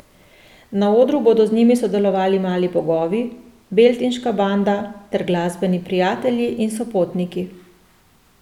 Na odru bodo z njim sodelovali Mali bogovi, Beltinška banda ter glasbeni prijatelji in sopotniki.